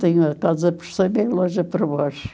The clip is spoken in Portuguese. Tenho a casa por cima e a loja por baixo.